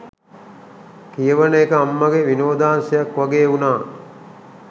කියවන එක අම්මගෙ විනෝදාංශයක් වගේ වුණා